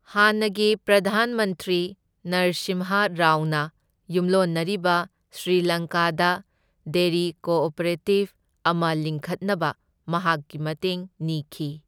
ꯍꯥꯟꯅꯒꯤ ꯄ꯭ꯔꯙꯥꯟ ꯃꯟꯇ꯭ꯔꯤ ꯅꯔꯁꯤꯝꯍ ꯔꯥꯎꯅ ꯌꯨꯝꯂꯣꯟꯅꯔꯤꯕ ꯁ꯭ꯔꯤ ꯂꯪꯀꯥꯗ ꯗꯦꯔꯤ ꯀꯣꯑꯣꯄꯔꯦꯇꯤꯕ ꯑꯃ ꯂꯤꯡꯈꯠꯅꯕ ꯃꯍꯥꯛꯀꯤ ꯃꯇꯦꯡ ꯅꯤꯈꯤ꯫